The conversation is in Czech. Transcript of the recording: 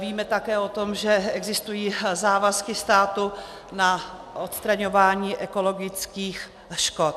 Víme také o tom, že existují závazky státu na odstraňování ekologických škod.